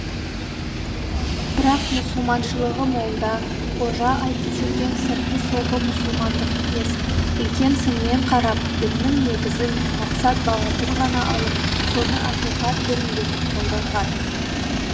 бірақ мұсылманшылығы молда қожа айтып жүрген сырты сопы мұсылмандық емес үлкен сынмен қарап діннің негізін мақсат бағытын ғана алып соны ақиқат діні етіп қолданған